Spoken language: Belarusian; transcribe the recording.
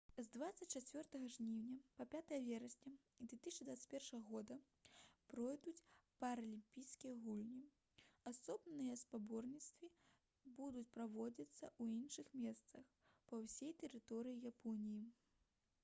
з 24 жніўня па 5 верасня 2021 г пройдуць паралімпійскія гульні асобныя спаборніцтвы будуць праводзіцца ў іншых месцах па ўсёй тэрыторыі японіі